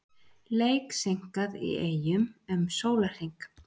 Leik seinkað í Eyjum um sólarhring